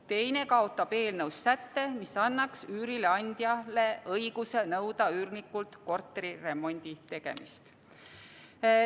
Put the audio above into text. Teine paneb ette kaotada eelnõus säte, mis annaks üürileandjale õiguse nõuda üürnikult korteri remondi tegemist.